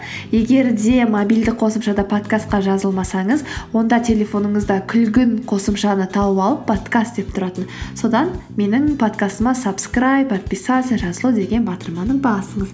егер де мобильді қосымшада подкастқа жазылмасаңыз онда телефоныңызда күлгін қосымшаны тауып алып подкаст деп тұратын содан менің подкастыма сабскрайб подписаться жазылу деген батырманы басыңыз